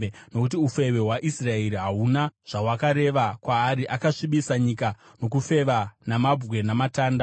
Nokuti ufeve hwaIsraeri hahuna zvahwakareva kwaari, akasvibisa nyika nokufeva namabwe namatanda.